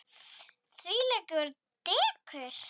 Þvílíkt dekur.